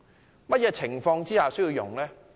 在甚麼情況下使用？